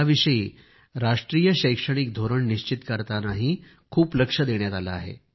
याविषयी राष्ट्रीय शैक्षणिक धोरण निश्चित करतानाही खूप लक्ष देण्यात आले आहे